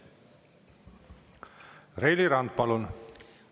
Reili Rand, palun!